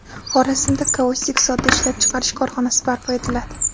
Xorazmda kaustik soda ishlab chiqarish korxonasi barpo etiladi.